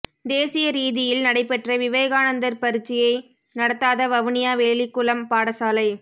தேசிய ரீதியில் நடைபெற்ற விவேகானந்தர் பரீட்சையை நடத்தாத வவுனியா வெளிக்குளம் பாடசாலை